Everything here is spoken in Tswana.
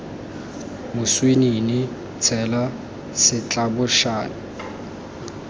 moswinini tshela setlabošane seo kana